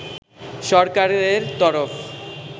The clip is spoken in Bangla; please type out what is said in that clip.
সরকারের তরফ